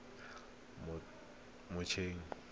motshegang